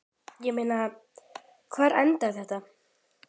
Ég meina, hvar endar þetta?